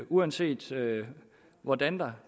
uanset hvordan der